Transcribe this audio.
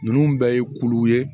Ninnu bɛɛ ye kulu ye